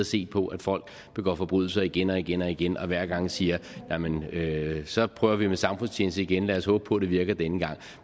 se på at folk begår forbrydelser igen og igen og igen og hver gang sige jamen så prøver vi med samfundstjeneste igen lad os håbe på at det virker denne gang